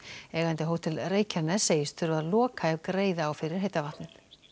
eigandi Hótel Reykjaness segist þurfa að loka ef greiða á fyrir heita vatnið